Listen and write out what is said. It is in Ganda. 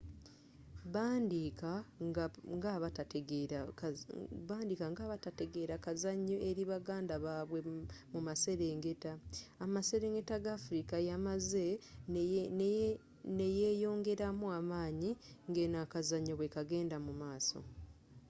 baaandiika nga abatategeera kazanyo eri baganda babwe mumaserengeta amaserengeta ga afrika yamaze neyongeramu amaanyi ngeno akazanyo bwekagenda mumaaso